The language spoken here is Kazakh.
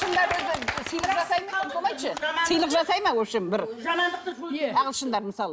сыйлық жасай ма вообщем бір ағылышындар мысалы